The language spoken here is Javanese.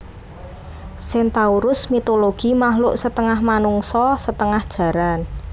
Centaurus mitologi makluk setengah manungsa setengah jaran